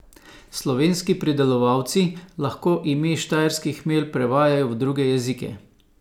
Slovenski pridelovalci lahko ime štajerski hmelj prevajajo v druge jezike.